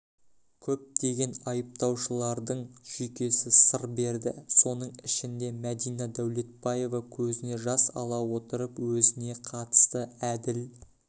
көптеген айыпталушылардың жүйкесі сыр берді соның ішінде мәдина дәулетбаева көзіне жас ала отырып өзіне қатысты әділ